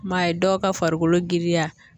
m'a ye dɔw ka farikolo giriya